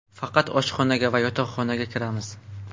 Faqat oshxonaga va yotoqxonaga kiramiz.